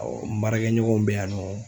n baarakɛɲɔgɔnw bɛ yan nɔ